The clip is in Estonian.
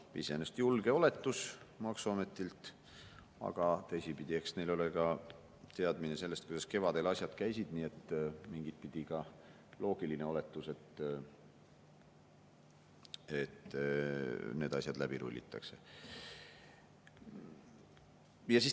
" Iseenesest julge oletus maksuametilt, aga teisipidi, eks neil ole ka teadmine sellest, kuidas kevadel asjad käisid, nii et mingitpidi ka loogiline oletus, et need asjad läbi rullitakse.